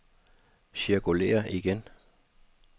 cirkulér igen